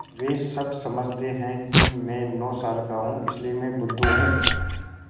वे सब समझते हैं कि मैं नौ साल का हूँ इसलिए मैं बुद्धू हूँ